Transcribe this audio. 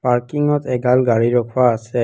পাৰ্কিংত এগাল গাড়ী ৰখোৱা আছে।